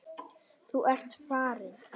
Þú ert farinn.